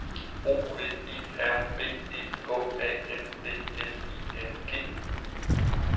O V E R B E H A N D L I N G